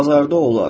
Bazarda olar.